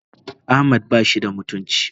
Ahmad bashi da mutunci.